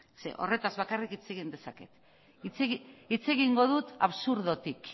zeren horretaz bakarrik hitz egin dezaket hitz egingo dut absurdotik